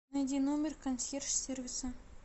найди номер консьерж сервиса